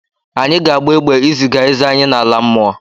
Anyị ga-agba egbe iziga eze anyị n'ala mmụọ.